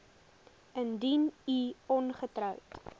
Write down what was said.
indien u ongetroud